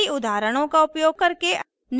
कई उदाहरणों का उपयोग करके